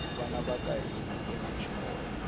vana vaka hina nghenani xikolo